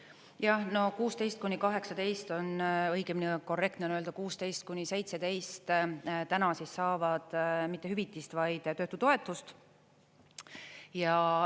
Jah, no 16–18 on, õigemini korrektne on öelda 16–17, täna saavad mitte hüvitist, vaid töötutoetust.